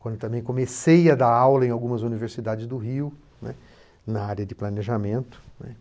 quando também comecei a dar aula em algumas universidades do Rio, né, na área de planejamento, né.